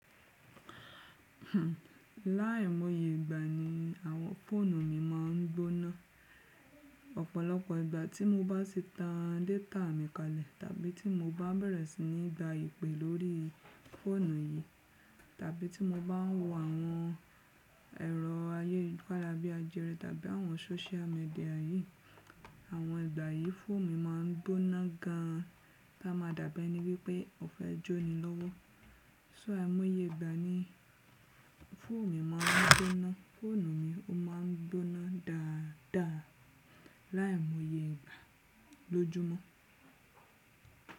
Láìmóye ìgbà ni àwọn fóònù mi máa ń gbóná. Ọ̀pọ̀lọpọ̀ ìgbà tí mo bá ti tan data mi kalẹ̀ tàbí tí mo bá bẹ̀rẹ̀ sí ní gba ìpè lórí fóònù yìí, tàbí tí mo bá ń wo àwọn ẹ̀rọ ayélujára bí ajere tàbí àwọn social media yìí, àwọn ìgbà yìí fóònù mi máa ń gbóná gan, láma dà bi ẹni wípé ó fẹ́ jóni lọ́wọ́. So áìmóye ìgbà ni fóònù mi máa ń gbóná. Fóònù mi ó máa ń gbóná dáadáa láìmóye ìgbà lójúmọ́.